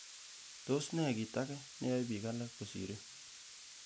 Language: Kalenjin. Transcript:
Tos nee kit age neyoe bik alak kosirin?